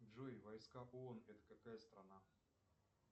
джой войка бон это какая страна